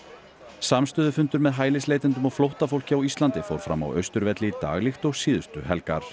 samstöðufundur með hælisleitendum og flóttafólki á Íslandi fór fram á Austurvelli í dag líkt og síðustu helgar